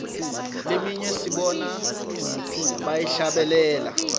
leminye sibona bayihlabelela